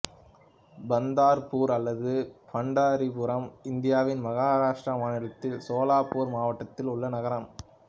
பந்தர்ப்பூர் அல்லது பண்டரிபுரம் இந்தியாவின் மகாராஷ்டிரா மாநிலத்தின் சோலாப்பூர் மாவட்டத்தில் உள்ள நகரம்